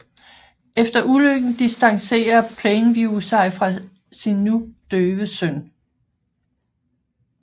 Efter ulykken distancerer Plainview sig fra sin nu døve søn